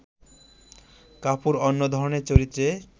কাপুর অন্য ধরনের চরিত্রে